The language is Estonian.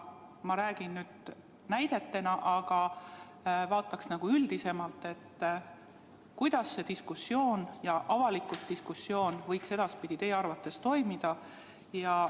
Ma toon lihtsalt näite, aga vaataks üldisemalt, kuidas see avalik diskussioon võiks edaspidi teie arvates käia.